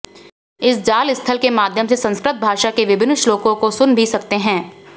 इस जालस्थल के माध्यम से संस्कृत भाषा के विभिन्न श्लोकों को सुन भी सकते हैं